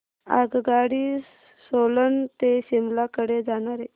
आगगाडी सोलन ते शिमला कडे जाणारी